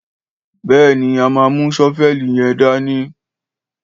Béèni, à mà mú sọfẹli yẹn dàní.